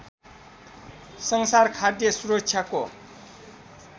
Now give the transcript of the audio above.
संसार खाद्य सुरक्षाको